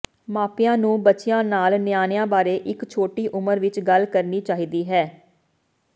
ਮਾਪਿਆਂ ਨੂੰ ਬੱਚਿਆਂ ਨਾਲ ਨਿਆਣਿਆਂ ਬਾਰੇ ਇੱਕ ਛੋਟੀ ਉਮਰ ਵਿੱਚ ਗੱਲ ਕਰਨੀ ਚਾਹੀਦੀ ਹੈ